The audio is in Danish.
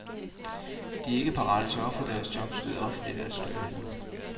De er ikke parate til at ofre deres jobs ved offentligt at støtte hende.